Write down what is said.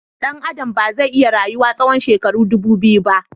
Dan Adam ba zai iya rayuwa tsawon shekaru ɗubu biyu ba